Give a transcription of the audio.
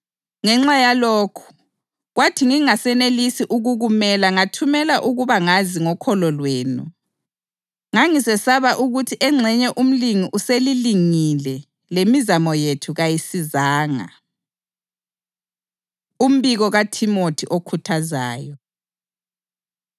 Ngenxa yalokhu, kwathi ngingasanelisi ukukumela ngathumela ukuba ngazi ngokholo lwenu. Ngangisesaba ukuthi engxenye umlingi uselilingile lemizamo yethu kayisizanga. Umbiko KaThimothi Okhuthazayo